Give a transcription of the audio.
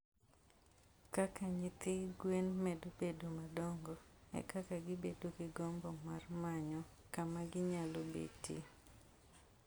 Kaka nyithi gwen medo bedo madongo, e kaka gibedo gi gombo mar manyo kama ginyalo betie.